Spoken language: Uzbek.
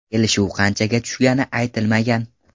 Kelishuv qanchaga tushgani aytilmagan.